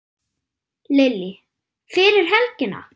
Lillý: Fyrir helgina?